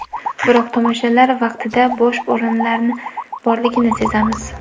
Biroq tomoshalar vaqtida bo‘sh o‘rinlar borligini sezamiz.